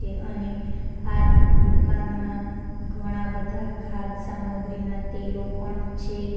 અને આ દુકાનમાં ઘણા બધા ખાદ સામગ્રીના તેલો પણ છે.